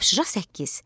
Tapşırıq 8.